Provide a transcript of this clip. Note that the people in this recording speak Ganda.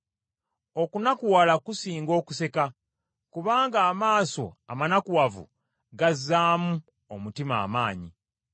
Okunakuwala kusinga okuseka, kubanga amaaso amanakuwavu gazzaamu omutima amaanyi.